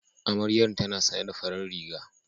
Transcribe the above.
Amaryan tana sanye da farar riga